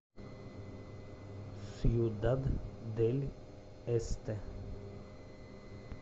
сьюдад дель эсте